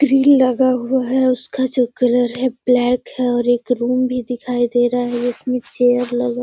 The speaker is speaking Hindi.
ग्रिल लगा हुआ है उसका जो कलर है ब्लैक है और एक रूम भी दिखाई दे रहा है जिसमें चेयर लगा --